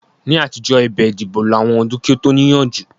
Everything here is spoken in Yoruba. Ní àtijọ́, ẹ̀bẹ̀ ìdìbò lo àwọn ọdún kí ó tó níyanjú